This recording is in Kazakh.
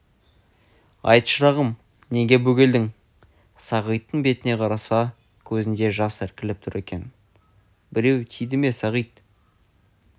айт шырағым неге бөгелдің сағиттің бетіне қараса көзінде жас іркіліп тұр екен біреу тиді ме сағит